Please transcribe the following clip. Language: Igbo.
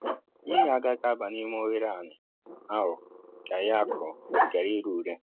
mmiri agaghị aba n'ime oghere ani ahụ ka ihe akụrụ ghara ire ure